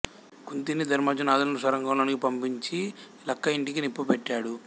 కుంతిని ధర్మార్జునాధులను సొరంగం లోనికి పంపించి లక్క ఇంటికి నిప్పు పెట్టాడు